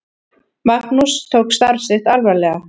Magnús tók starf sitt alvarlega.